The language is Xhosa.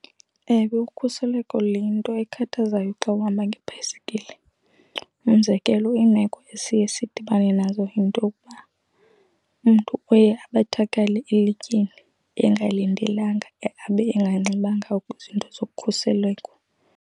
Ewe, ukhuseleko luyinto ekhathazayo xa uhamba ngebhayisekile. Umzekelo, iimeko esiye sidibane nazo yinto yokuba umntu uye abethakale elityeni engalindelekanga abe enganxibanga kwizinto zokhuseleko.